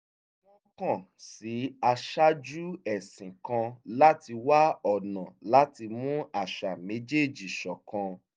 wọ́n kàn sí aṣáájú ẹ̀sìn kan láti wá ọ̀nà láti mú àṣà méjèèjì ṣọ̀kan